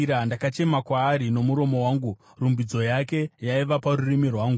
Ndakachema kwaari nomuromo wangu; rumbidzo yake yaiva parurimi rwangu.